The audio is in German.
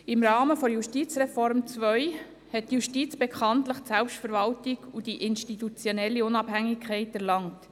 Im Rahmen der Justizreform II hat die Justiz bekanntlich die Selbstverwaltung und die institutionelle Unabhängigkeit erlangt.